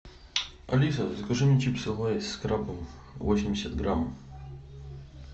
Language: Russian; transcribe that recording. алиса закажи мне чипсы лейс с крабом восемьдесят грамм